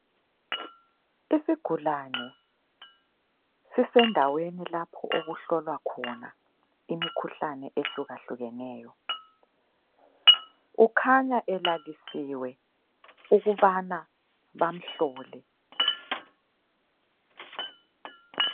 Isigulane sisendaweni lapho okuhlolwa khona imikhuhlane ehlukahlukeneyo, ukhanya elalisiwe ukubana bamhlole